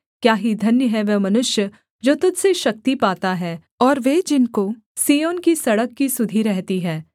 क्या ही धन्य है वह मनुष्य जो तुझ से शक्ति पाता है और वे जिनको सिय्योन की सड़क की सुधि रहती है